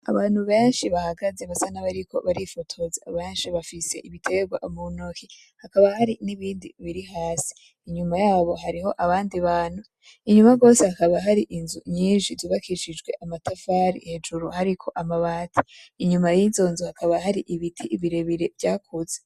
Abantu benshi bahagaze basa n'abariko barifotoza. Benshi bafise ibitegwa muntoki, hakaba hari n'ibindi biri hasi. Inyuma yabo hariho abandi bantu. Inyuma gose hakaba hari inzu nyinshi zubakishijwe amatafari, hejuru hariko amabati. Inyuma y'izo nzu hakaba hari ibiti birebire byakuze.